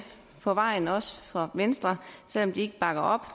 på vejen også fra venstre selv om de ikke bakker op